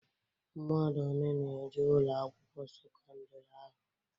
Mmadụ one na-eje Ụlọ akwụkwọ sekọndrị ahụ?